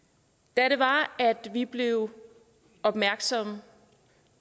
da vi blev opmærksomme